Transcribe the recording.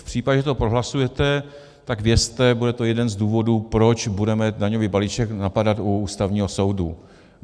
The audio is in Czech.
V případě, že to prohlasujete, tak vězte, bude to jeden z důvodů, proč budeme daňový balíček napadat u Ústavního soudu.